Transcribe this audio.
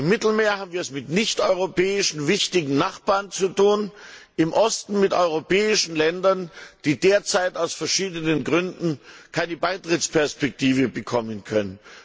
Im Mittelmeer haben wir es mit nichteuropäischen wichtigen Nachbarn zu tun, im Osten mit europäischen Ländern, die derzeit aus verschiedenen Gründen keine Beitrittsperspektive bekommen können.